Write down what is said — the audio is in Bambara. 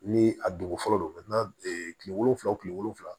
Ni a dugukolo don kile wolonwula kile wolonwula